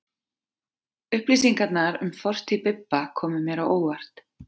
Upplýsingarnar um fortíð Bibba komu mér á óvart.